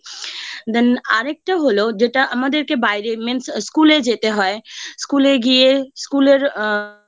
Then আরেকটা হলো যেটা আমাদেরকে বাইরে Means School এ যেতে হয় School এ গিয়ে School এর আ